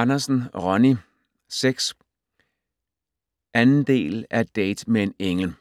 Andersen, Ronnie: 6 2. del af Date med en engel.